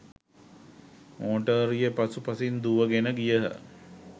Motor රිය පසු පසින් දුවගෙන ගියහ.